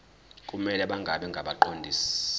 kumele bangabi ngabaqondisi